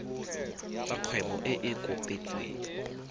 tsa kgwebo e e kopetsweng